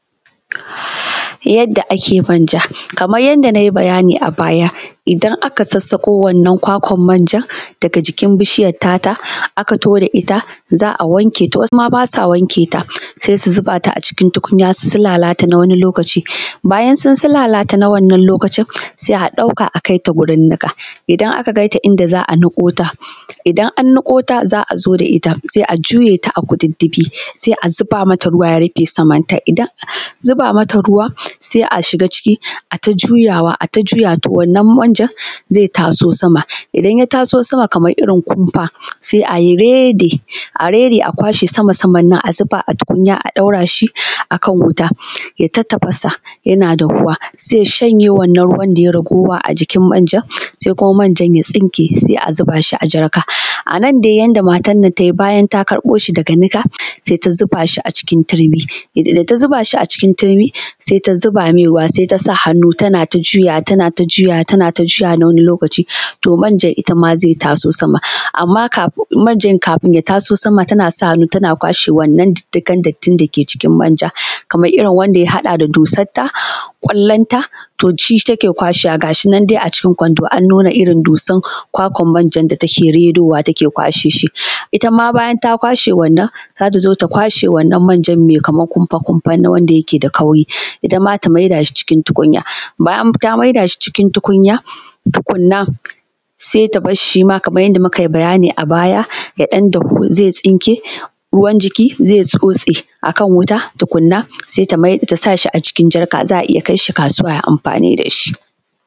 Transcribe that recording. Yanda ake manja kaman yadda na yi bayani a baya idan aka sassaƙo wannan kwakwan manjan daga jikin bishiyar tata aka kawo ta ita za a wanke ta. To, wasu ma basa wankewa sai su zuba ta a cikin tukunya su sulalata na wani lokaci. Bayan sun sulalata na wannan lokacin sai a ɗauka a kaita wurin niƙa idan aka kaita inda za a niƙo ta, idan an niƙo ta za a zo da ita sai a juye ta a kututtufi sai a zuba mata ruwa ya rufe samarta, idan an zuba mata ruwa sai a shiga ciki ai ta juyawa to wannan manjan zai taso sama. Idan ya taso sama kamar irin kumfa sai a rairaye a kwashe sama-saman nan a zuba a tukunya a ɗaura shi akan wuta ya yi ta tafasa yana dahuwa, zai shanye wannan ruwan da ya yi ragowa a jikin manjan, sai kuma manjan ya tsinke sai a zuba shi a jarka. A nan dai yanda matan nan ta yi bayan ta karɓo shi daga niƙa sai ta zuba shi a cikin turmi da ta zuba shi a cikin turmi sai ta zuba mai ruwa sai tasa hannu tana ta juyawa, tana ta juyawa na wani lokaci to manjan ita ma zai taso sama amma manjan kafin ya taso sama tana sa hannu tana kwashe wannan diddigan dattin dake cikin manja kamar irin wanda ya haɗa da dusarta, kwallan ta to shi take kwashewa gashi nan dai a cikin kwando an nuna irin dussan kwakwan manjan da take rerowa take kwashewa it ama bayan ta kwashe wanann za ta zo ta kwaashe wannan manjan mai kaman kumfa-kumfa wannan wanda yake da kauri itama ta maida shi cikin tukunya bayan ta maida shi cikin tukunya tukunna sai ta bar shi shi ma kaman yadda muka yi bayani a baya yadan dahu zai tsinke ruwan jiki zai tsotse a kan wuta tukunna sai tasa shi a cikin jarka za a iya kai shi kasuwa ai amfani da shi.